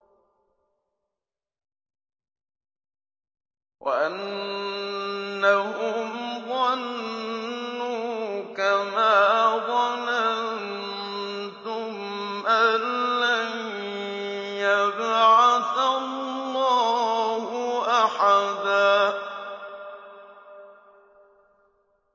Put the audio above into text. وَأَنَّهُمْ ظَنُّوا كَمَا ظَنَنتُمْ أَن لَّن يَبْعَثَ اللَّهُ أَحَدًا